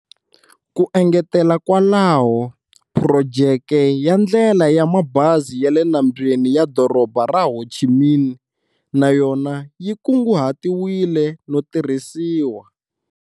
Ku engetela kwalaho, phurojeke ya ndlela ya mabazi ya le nambyeni ya Doroba ra Ho Chi Minh na yona yi kunguhatiwile no tirhisiwa.